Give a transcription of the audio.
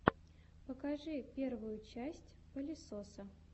покажи первую часть палесоса